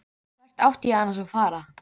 Hvert átti ég annars að fara?